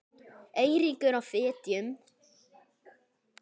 Eiríkur á Fitjum.